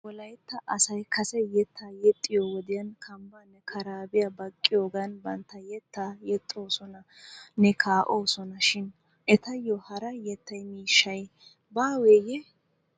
Nu wolaytta asay kase yettaa yexxiyo wodiyaan kanbbaanne karaabiyaa baqqiyoogan bantta yettaa yexxoosonanne kaa'oosona shin etayo hara yettaa miishay baaweeye?